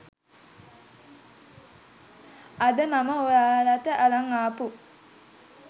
අද මම ඔයාලට අරන් ආපු